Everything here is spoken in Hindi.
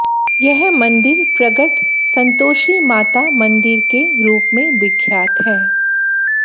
यह मंदिर प्रगट संतोषी माता मंदिर के रूप में विख्यात है